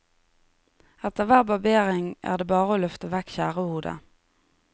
Etter hver barbering er det bare å løfte vekk skjærehodet.